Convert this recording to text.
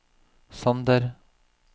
Sander